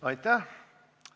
Aitäh!